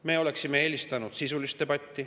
Me oleksime eelistanud sisulist debatti.